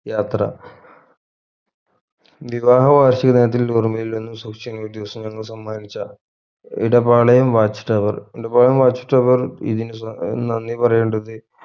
യാത്ര വിവാഹ വാർഷിക ദിനത്തിൽ ഓർമയിൽ നിന്ന് സൂക്ഷിക്കുന്ന ദിവസങ്ങൾ സമ്മാനിച്ച Edapalayam watch tower Edapalayam watch tower ഇതിന് നന്ദി പറയേണ്ടത്